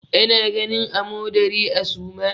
Ana ganin amodari a suma.